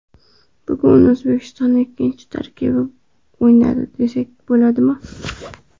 Bugun O‘zbekiston ikkinchi tarkibi bilan o‘ynadi, desak bo‘ladimi?